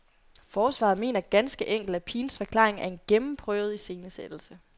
Forsvaret mener ganske enkelt, at pigens forklaring er en gennemprøvet iscenesættelse.